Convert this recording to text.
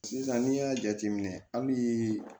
Sisan n'i y'a jateminɛ hali